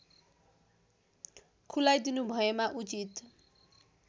खुलाइदिनुभएमा उचित